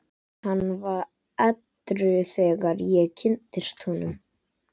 Hann var edrú þegar ég kynntist honum.